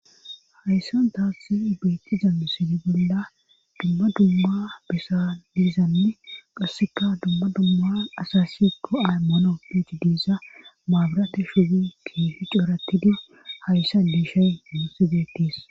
hayssantaasi beetiza sidi bolda dumma dumma besa diizanne qasseka dumma dumma asasi koay mono pici diisa maabirate shuwi kiifi cooratidi hayssa miishy nuus betes